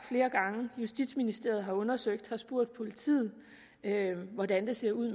flere gange justitsministeriet har undersøgt det og spurgt politiet hvordan det ser ud